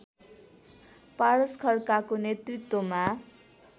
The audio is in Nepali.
पारस खड्काको नेतृत्वमा